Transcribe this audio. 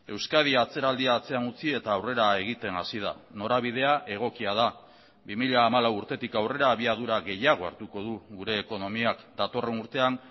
euskadi atzeraldia atzean utzi eta aurrera egiten hasi da norabidea egokia da bi mila hamalau urtetik aurrera abiadura gehiago hartuko du gure ekonomiak datorren urtean